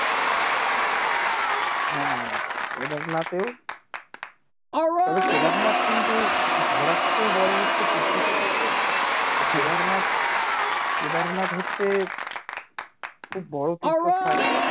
হ্যাঁ কেদারনাথেও তবে কেদারনাথ কিন্তু ঘোরার চেয়েও বড়ো হচ্ছে তীর্থস্থান তো কেদারনাথ কেদারনাথ হচ্ছে খুব তীর্থস্থান